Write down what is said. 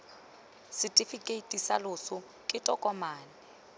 setefikeiti sa loso ke tokomane